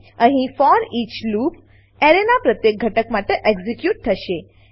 અહીં for each loop for each loop એરેનાં પ્રત્યેક ઘટક માટે એક્ઝીક્યુટ થશે